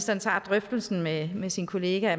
man tager drøftelsen med med sin kollega